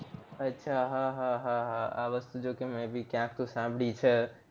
અચ્છા હા હા હા હા આ વસ્તુ જોકે મેં ભી ક્યાંક સાંભળી છે